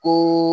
Ko